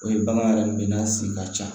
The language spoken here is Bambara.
O ye bagan yɛrɛ min ye n'a sen ka ca